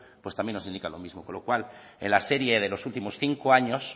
pues también nos indican lo mismo con lo cual en la serie de los últimos cinco años